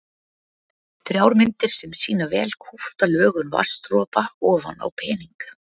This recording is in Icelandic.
Þrjár myndir sem sýna vel kúpta lögun vatnsdropa ofan á pening.